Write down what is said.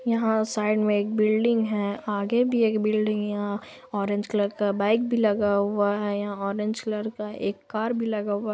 यहाँ साइड में एक बिल्डिंग है| आगे भी एक बिल्डिंग है| यहाँ ऑरेंज कलर का बाइक भी लगी हुआ है| यहाँ ऑरेंज कलर का कार भी लगा हुआ है।